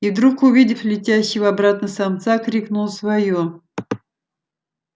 и вдруг увидев летящего обратно самца крикнула своё